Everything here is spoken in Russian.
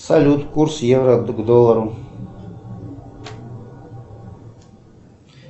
салют курс евро к доллару